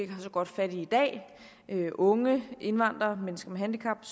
har så godt fat i i dag unge indvandrere mennesker med handicap